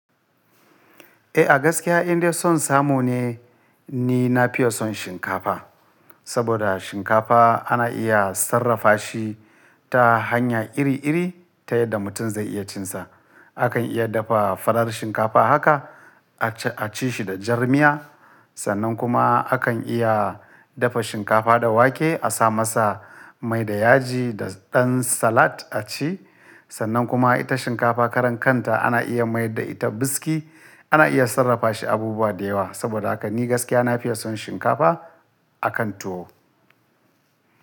Eh a gaskiya inde son samu ne ni na fiye son shinkafa. Saboda shinkafa ana iya sarrafa shi ta hanya iri-iri, ta yadda mutum zai iya cin sa. Akan iya dafa farar shinkafa haka a ci shi da jar miya. Sannan kuma akan iya dafa shinkafa da wake a sa masa mai da yaji da ɗan salad a ci. Sannan kuma ita shinkafa karan kanta ana iya mayar da ita biski. Ana iya sarrafa shi abubuwa da yawa, saboda haka ni gaskiya na fiyevson shinkafa a kan tuwo.